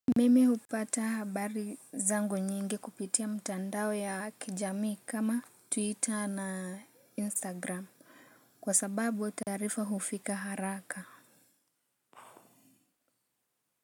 Mimi hupata habari zangu nyingi kupitia mtandao ya kijamii kama twitter na instagram kwa sababu taarifa hufika haraka.